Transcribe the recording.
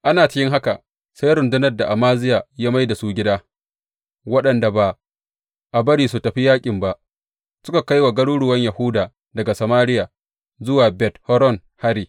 Ana cikin haka, sai rundunar da Amaziya ya mai da su gida, waɗanda ba a bari suka tafi yaƙin ba, suka kai wa garuruwan Yahuda daga Samariya zuwa Bet Horon hari.